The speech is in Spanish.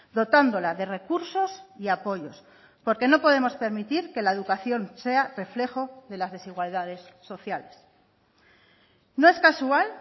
dotándola de recursos y apoyos porque no podemos permitir que la educación sea reflejo de las desigualdades sociales no es casual